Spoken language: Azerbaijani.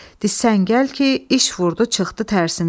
Disən gəl ki, iş vurdu, çıxdı tərsinə.